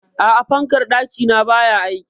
A'a, fankar ɗaki na baya aiki?